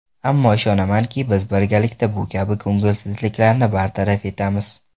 Ammo, ishonamanki, biz birgalikda bu kabi ko‘ngilsizliklarni bartaraf etamiz.